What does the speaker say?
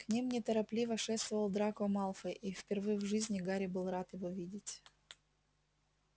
к ним неторопливо шествовал драко малфой и впервые в жизни гарри был рад его видеть